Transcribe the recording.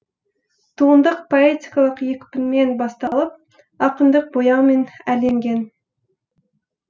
туынды поэтикалық екпінмен басталып ақындық бояумен әрленген